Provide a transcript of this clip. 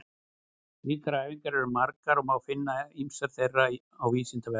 Slíkar æfingar eru margar og má finna ýmsar þeirra á Vísindavefnum.